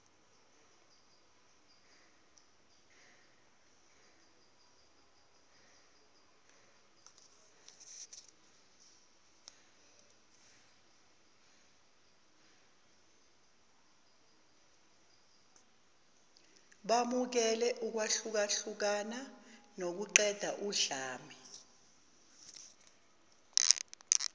bamukele ukwahlukahlukana nokuqedaudlame